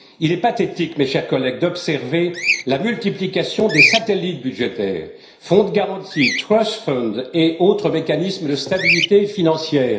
Il est pathétique, chers collègues, d'observer la multiplication des satellites budgétaires fonds de garantie, trust funds et autres mécanismes de stabilité financière.